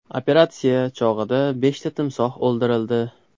Operatsiya chog‘ida beshta timsoh o‘ldirildi.